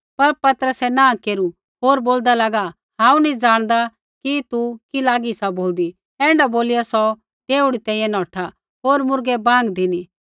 पर पतरसै नाँह केरू होर बोलदा लागा हांऊँ नी ज़ाणदा कि तू कि लागी सा बोलदी ऐण्ढा बोलिया सौ डेवढ़ी तैंईंयैं नौठा होर मुर्गै बाँग धिनी